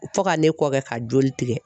Fo ka ne kɔ kɛ ka joli tigɛ.